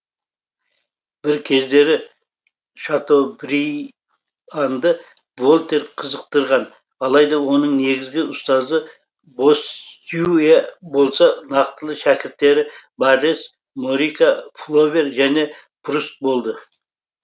бір кездері шатобрианды вольтер қызықтырған алайда оның негізгі ұстазы боссюэ болса нақтылы шәкірттері баррес морика флобер және пруст болды